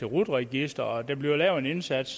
rut registeret og der bliver lavet en indsats